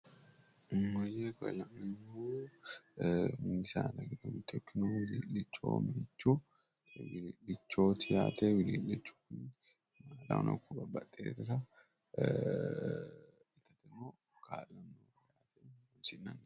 Maayye koye la'neemmohu mini saada giddo mitto ikkinohu wilii'lichoho. Meichu wilii'lichooti yaate. Wilii'lichu kuni maalahono ikko babbaxxiworira itateno kaa'lanno yaate.